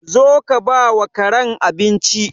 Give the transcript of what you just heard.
Zo ka bawa Karen abinci.